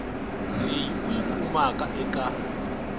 leyi u yi kumaka eka